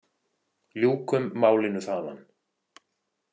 Ljúkum málinu þaðan.